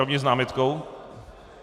Rovněž s námitkou?